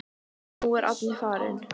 Og nú er Árni farinn.